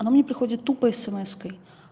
она мне приходит тупо смс-кой